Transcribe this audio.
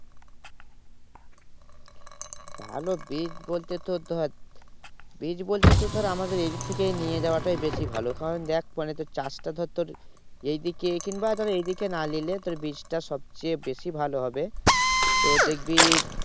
ভালো বীজ বলতে তোর ধর, বীজ বলতে তোর ধর আমাদের এদিক থেকেই নিয়ে যাওয়াটাই বেশি ভালো কারণ দেখ চাষটা ধর তোর এইদিকে কিংবা ধর এইদিকে না নিলে তোর বীজটা সবচেয়ে বেশি ভালো হবে তোর দেখবি